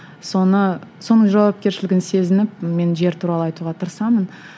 соны соның жауапкершілігін сезініп мен жер туралы айтуға тырысамын